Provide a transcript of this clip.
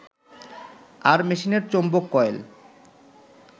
আর মেশিনের চৌম্বক কয়েল